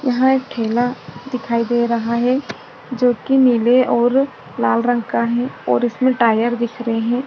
यहाँ एक ठेला दिखाई दे रहा है जोकि नीले और लाल रंग का है और उके टायर दिख रहे है।